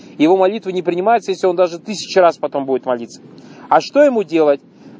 его молитвы не принимаются если он даже тысячу раз потом будет молиться а что ему делать